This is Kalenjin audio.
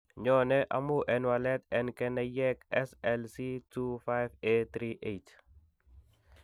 Nyoone amun en walet en keneyeek SLC25A38.